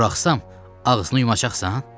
Buraxsam ağzını yumacaqsan?